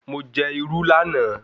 Mo jẹ irú lánàá